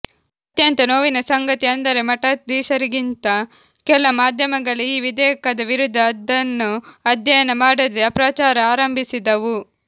ಅತ್ಯಂತ ನೋವಿನ ಸಂಗತಿ ಅಂದರೆ ಮಠಾಧೀಶರಿಗಿಂತ ಕೆಲ ಮಾಧ್ಯಮಗಳೇ ಈ ವಿಧೇಯಕದ ವಿರುದ್ಧ ಅದನ್ನು ಅಧ್ಯಯನ ಮಾಡದೇ ಅಪಪ್ರಚಾರ ಆರಂಭಿಸಿದವು